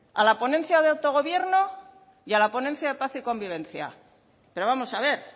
a la ponencia de autogobierno y a la ponencia de paz y convivencia pero vamos a ver